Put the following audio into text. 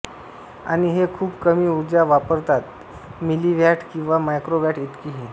आणि हे खुप कमी ऊर्जा वापरतात मिलीव्ह्याट किंवा मायक्रोव्ह्याट इतकीही